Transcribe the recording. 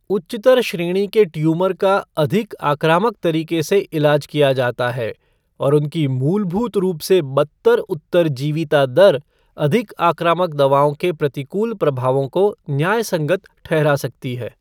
उच्चतर श्रेणी के ट्यूमर का अधिक आक्रामक तरीके से इलाज किया जाता है, और उनकी मूलभूत रूप से बदतर उत्तरजीविता दर अधिक आक्रामक दवाओं के प्रतिकूल प्रभावों को न्यायसंगत ठहरा सकती है।